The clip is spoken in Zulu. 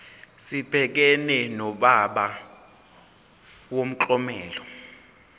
sibhekane nodaba lomklomelo